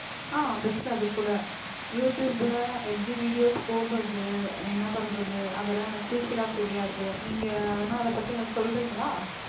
அஹ் best அதுகூட யூடுயூப்ல எப்படி videos போடறது என்ன பண்றது அதெல்லாம் எனக்கு fulfill ஆ தெரியாது நீங்க வேணா அதை பத்தி எனக்கு சொல்றீங்களா